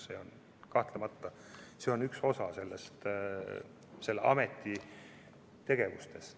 See on kahtlemata üks osa selle ameti tegevusest.